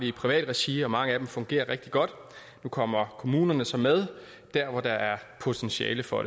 i privat regi og mange af dem fungerer rigtig godt nu kommer kommunerne så med dér hvor der er potentiale for